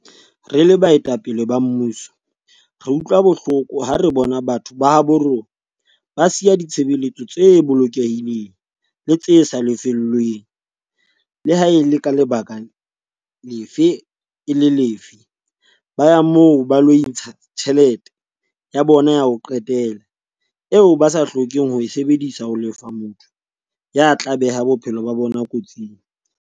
"Re le baetapele ba mmuso re utlwa bohloko ha re bona batho ba habo rona ba siya ditshebeletso tse bolokehileng le tse sa lefellweng, le ha e le ka lebaka le ha e le lefe, ba ya moo ba ilo ntsha tjheletana ya bona ya ho qetela eo ba sa hlokeng ho e sebedisetsa ho lefa motho ya tla beha bophelo ba bona kotsing."